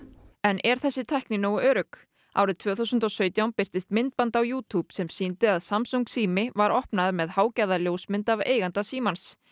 en er þessi tækni nógu örugg árið tvö þúsund og sautján birtist myndband á sem sýndi að samsung sími var opnaður með hágæða ljósmynd af eiganda símans